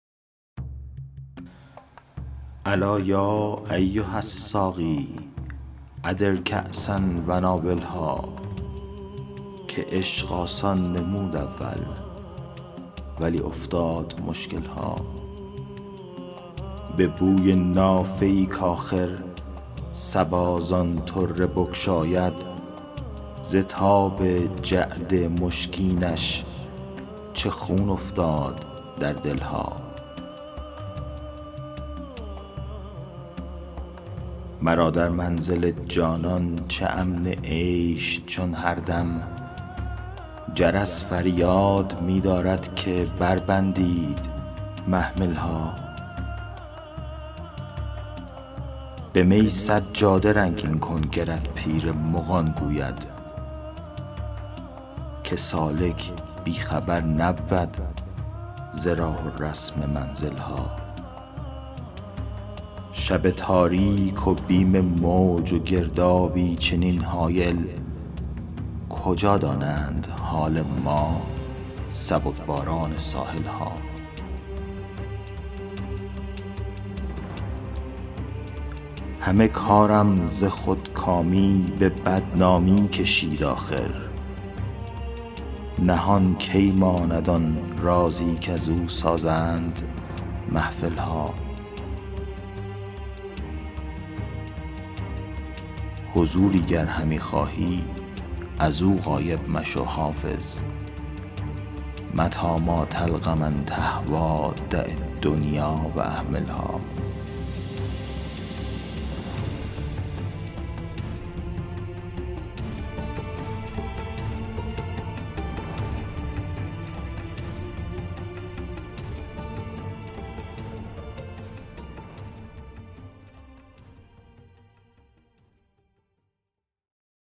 الا یا ایها الساقی ادر کأسا و ناولها که عشق آسان نمود اول ولی افتاد مشکل ها به بوی نافه ای کآخر صبا زان طره بگشاید ز تاب جعد مشکینش چه خون افتاد در دل ها مرا در منزل جانان چه امن عیش چون هر دم جرس فریاد می دارد که بربندید محمل ها به می سجاده رنگین کن گرت پیر مغان گوید که سالک بی خبر نبود ز راه و رسم منزل ها شب تاریک و بیم موج و گردابی چنین هایل کجا دانند حال ما سبک باران ساحل ها همه کارم ز خودکامی به بدنامی کشید آخر نهان کی ماند آن رازی کزو سازند محفل ها حضوری گر همی خواهی از او غایب مشو حافظ متیٰ ما تلق من تهویٰ دع الدنیا و اهملها